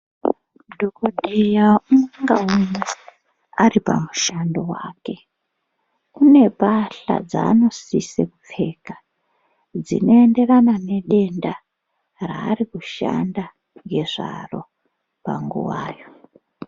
Dhokodheya umwe ngaumwe ari pamushando wake unepahla dzaanosise kupfeka dzinoenderana nedenda raari kushanda ngezvaro panguwa yo.